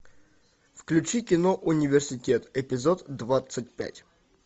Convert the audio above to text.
включи кино университет эпизод двадцать пять